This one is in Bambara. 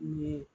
Ɲe